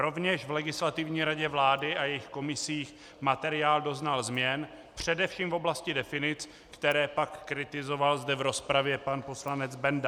Rovněž v Legislativní radě vlády a jejích komisích materiál doznal změn především v oblasti definic, které pak kritizoval zde v rozpravě pan poslanec Benda.